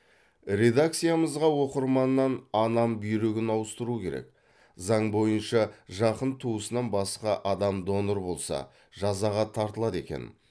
редакциямызға оқырманнан анам бүйрегін ауыстыру керек заң бойынша жақын туысынан басқа адам донор болса жазаға тартылады екен